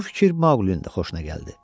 Bu fikir Maqlinin də xoşuna gəldi.